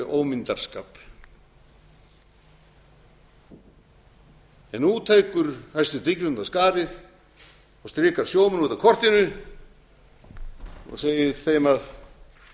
og ómyndarskap en nú tekur hæstvirt ríkisstjórn af skarið og strikar sjómenn út af kortinu og segir þeim að